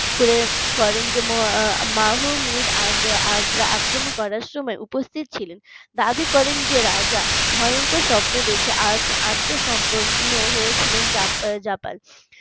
করে করেন যে মাহমুদের আগ্রা আগ্রা আক্রমণ করার সময় উপস্থিত ছিলেন দাবি করেন যে রাজা ভয়ংকর স্বপ্ন দেখে আত্মসম্পন্ন হয়েছিলেন জা জাপান